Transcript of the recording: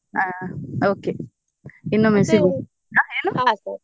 ಹಾ okay ಇನ್ನೊಮ್ಮೆ ಸಿಗು ಏನು?